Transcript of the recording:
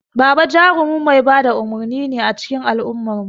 Baba jarumin mai ba da umurni ne a cikin al'ummarmu.